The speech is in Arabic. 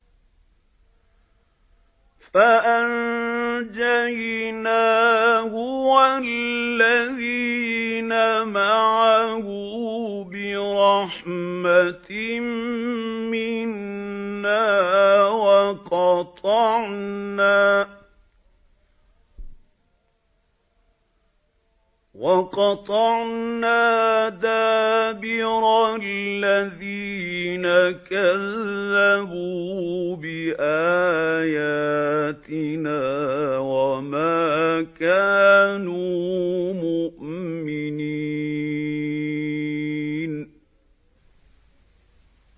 فَأَنجَيْنَاهُ وَالَّذِينَ مَعَهُ بِرَحْمَةٍ مِّنَّا وَقَطَعْنَا دَابِرَ الَّذِينَ كَذَّبُوا بِآيَاتِنَا ۖ وَمَا كَانُوا مُؤْمِنِينَ